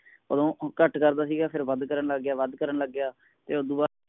ਵੱਧ ਕਰਨ ਲਗ ਗਿਆ ਵੱਧ ਕਰਨ ਲਗ ਗਿਆ ਫੇਰ ਉਸਤੋਂ ਬਾਦ